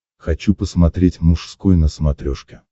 хочу посмотреть мужской на смотрешке